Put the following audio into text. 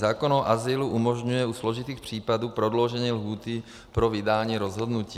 Zákon o azylu umožňuje u složitých případů prodloužení lhůty pro vydání rozhodnutí.